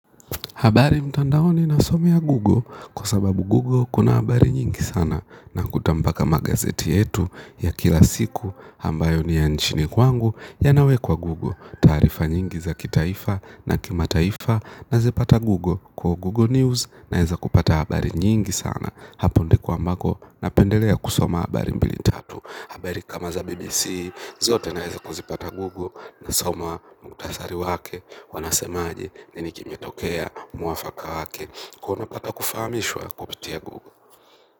Habari mtandaoni nasomea google kwa sababu google kuna habari nyingi sana nakuta mpaka magazeti yetu ya kila siku ambayo ni ya nchini kwangu yanawekwa google, taarifa nyingi za kitaifa na kimataifa nazipata google, kwa google news naweza kupata habari nyingi sana hapo ndiko mbako napendelea kusoma habari mbili tatu. Habari kama za BBC zote naeza kuzipata google nasoma muhtasari wake wanasemaje, nini kimetokea muwafaka wake ko napata kufahamishwa kupitia google.